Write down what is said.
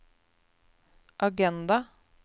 agenda